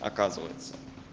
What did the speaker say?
оказывается